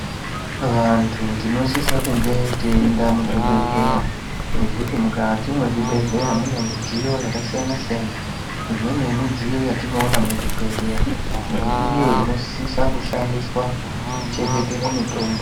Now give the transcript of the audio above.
Vantu tinosise tiyienda muzvibhedleya nekuti mukati mezvibhedleya mune midziyo yakasiyana siyana imweni yemidziyo yatinowona muzvibhedleya ndeiyo inosisa kushandiswa kuchengetere mitombo.